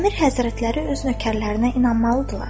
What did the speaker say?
Əmir Həzrətləri öz nökərlərinə inanmalıydılar.